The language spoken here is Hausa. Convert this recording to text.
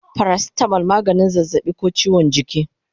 Paracetamol maganin zazzabi ko chiwon jiki